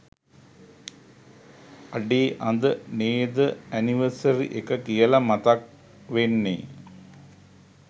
අඩේ අද නේද ඇනිවර්සරි එක කියල මතක් වෙන්නෙ